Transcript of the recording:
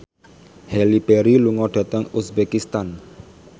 Halle Berry lunga dhateng uzbekistan